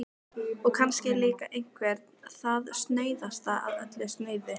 Og kannski er líka einveran það snauðasta af öllu snauðu.